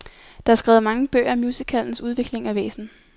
Der er skrevet mange bøger om musicalens udvikling og væsen.